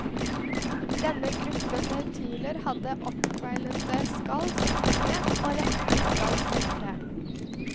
Denne gruppen nautiler hadde oppkveilete skall som unge og rette skall senere.